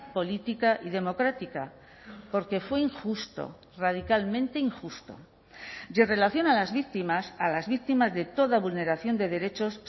política y democrática porque fue injusto radicalmente injusto y en relación a las víctimas a las víctimas de toda vulneración de derechos